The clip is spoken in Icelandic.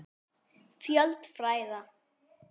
Fjöld fræða